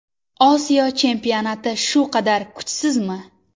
Osiyo chempionati shu qadar kuchsizmi?